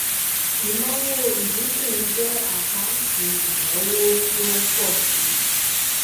ìnáwó ìdínkù jẹ àkáǹtì ìnáwó tí ó ń pọ síi